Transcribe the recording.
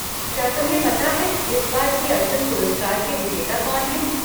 क्या तुम्हें पता है इस बार के अर्जुन पुरस्कार के विजेता कौन हैं?